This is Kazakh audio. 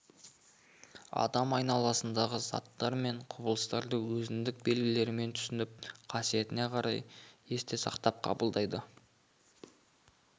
адам айналасындағы заттар мен құбылыстарды өзіндік белгілерімен түсініп қасиетіне қарай есте сақтап қабылдайды